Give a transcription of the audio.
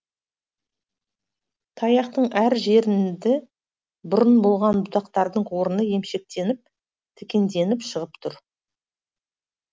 таяқтың әр бұрын болған бұтақтардың орыны емшектеніп тікенденіп шығып тұр